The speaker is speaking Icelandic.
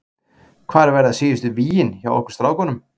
Hvar verða síðustu vígin hjá okkur strákunum?